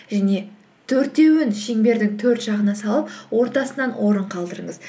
және төртеуін шеңбердің төрт жағына салып ортасынан орын қалдырыңыз